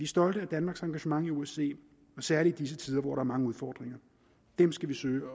stolte af danmarks engagement i osce særlig i disse tider hvor der er mange udfordringer dem skal vi søge